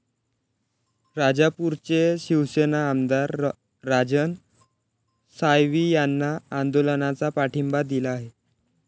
राजापूरचे शिवसेना आमदार राजन साळवी यांनी आंदोलनाला पाठिंबा दिला आहे.